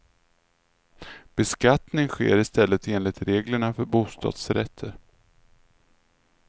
Beskattning sker i stället enligt reglerna för bostadsrätter.